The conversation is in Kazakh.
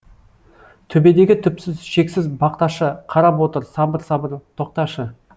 төбедегі түпсіз шексіз бақташы қарап отыр сабыр сабыр тоқташы